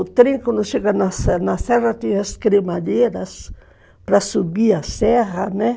O trem, quando chega na serra serra, tem as cremadeiras para subir a serra, né?